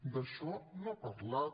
d’això no ha parlat